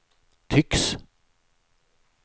tycks